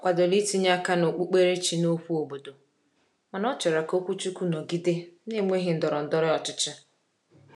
Ọ kwadoro itinye aka n’okpukperechi n’okwu obodo mana ọ chọrọ ka okwuchukwu nọgide na-enweghị ndọrọ ndọrọ ọchịchị.